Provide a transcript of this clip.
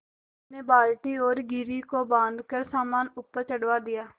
मैंने बाल्टी और घिर्री को बाँधकर सामान ऊपर चढ़वा दिया